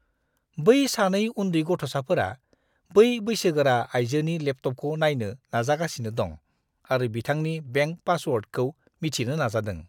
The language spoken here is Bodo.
बै सानै उन्दै गथ'साफोरा बै बैसोगोरा आइजोनि लेपटपखौ नायनो नाजागासिनो दं आरो बिथांनि बेंक पासवर्डखौ मिथिनो नाजादों।